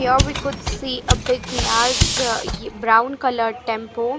here we could see a big large a brown colour tempo.